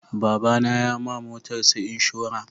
Baba na ya ma motarsa inshora